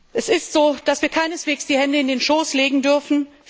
Es ist so, dass wir keineswegs die Hände in den Schoß legen dürfen.